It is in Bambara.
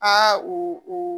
Aa u u